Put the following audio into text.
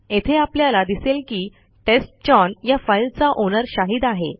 येथे आपल्याला दिसेल की टेस्टचाउन या फाईलचा ओनर शाहिद आहे